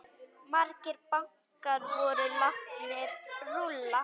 Margir bankar voru látnir rúlla.